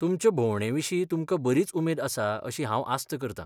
तुमचे भोंवडेविशीं तुमकां बरीच उमेद आसा अशी हांव आस्त करतां.